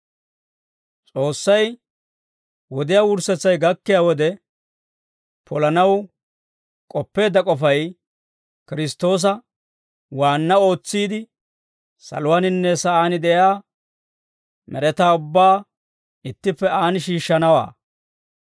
S'oossay wodiyaa wurssetsay gakkiyaa wode polanaw k'oppeedda k'ofay Kiristtoosa waanna ootsiide, saluwaaninne sa'aan de'iyaa med'etaa ubbaa ittippe aan shiishshanawaa.